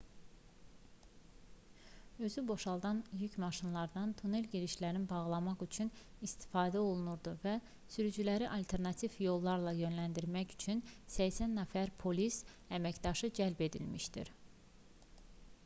özüboşaldan yük maşınlarından tunelgirişlərini bağlamaq üçün istifadə olunurdu və sürücüləri alternativ yollara yönləndirmək üçün 80 nəfər polis əməkdaşı cəlb edilmişdi